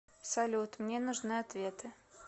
салют мне нужны ответы